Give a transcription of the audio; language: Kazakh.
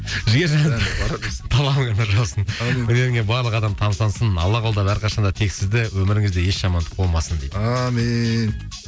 жігер талабыңа нұр жаусын өнеріңе барлық адамдар тамсансын алла қолдап әрқашанда тек сізді өміріңізде еш жамандық болмасын дейді әумин